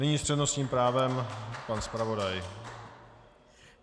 Nyní s přednostním právem pan zpravodaj.